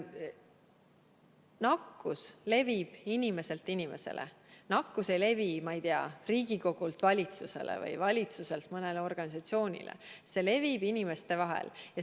Nakkus levib inimeselt inimesele, nakkus ei levi, ma ei tea, Riigikogult valitsusele või valitsuselt mõnele organisatsioonile, see levib inimeste vahel.